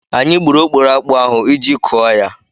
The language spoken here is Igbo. Anyị gburu okporo akpụ ahụ iji kụọ ya.